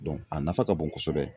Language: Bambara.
a nafa ka bon kosɛbɛ.